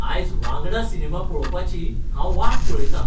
आयज वांगडा सिनेमा पळोवपाची हांव वाट पळयतां.